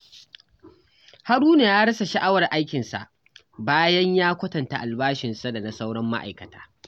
Haruna ya rasa sha'awar aikinsa bayan ya kwatanta albashinsa da na sauran ma'aikata.